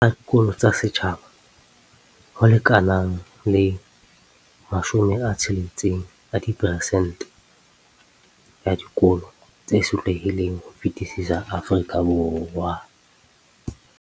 Tsa dikolo tsa setjhaba, ho lekanang le 60 a diperesente ya dikolo tse sotlehileng ho fetisisa Afrika Borwa.